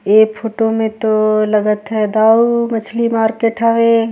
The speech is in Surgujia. ए फोटो में तो लागत हवे दाऊ मछली मार्केट हवे।